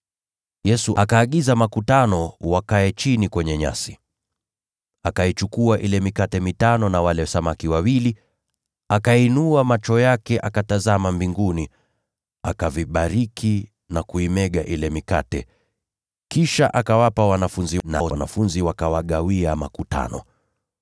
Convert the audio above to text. Yesu akaagiza makutano wakae chini kwenye nyasi. Akaichukua ile mikate mitano na wale samaki wawili, akainua macho yake akatazama mbinguni, akavibariki na kuimega ile mikate. Kisha akawapa wanafunzi, nao wanafunzi wakawagawia makutano.